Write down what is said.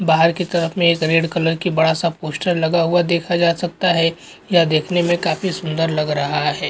बाहर की तरफ में एक रेड कलर का बड़ा सा पोस्टर लगा हुआ है देखा जा सकता है यह देखने में काफी सुन्दर लग रहा है।